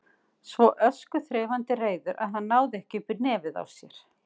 Svo öskuþreifandi reiður að hann náði ekki upp í nefið á sér.